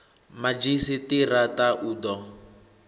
madzhisi ṱira ṱa u ḓo